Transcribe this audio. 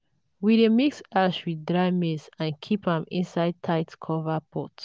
we dey mix ash with dry maize and keep am inside tight-covered pot.